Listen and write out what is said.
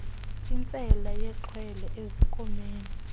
nkintsela yexhwele ezinkomeni